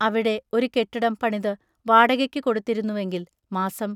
അവിടെ ഒരു കെട്ടിടം പണിതു വാടകയ്ക്കു കൊടുത്തിരുന്നുവെങ്കിൽ മാസം